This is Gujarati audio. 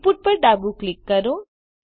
Inputપર ડાબું ક્લિક કરો